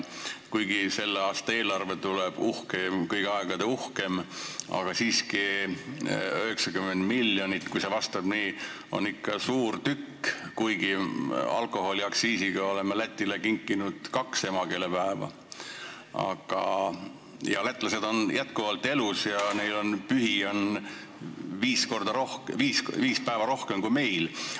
Kuigi selle aasta eelarve tuleb kõigi aegade uhkeim, aga kui see 90 miljonit tõele vastab, siis on see ikka suur tükk, ehkki alkoholiaktsiisiga oleme Lätile kinkinud kaks emakeelepäeva ning lätlased on jätkuvalt elus ja neil on pühi viis päeva rohkem kui meil.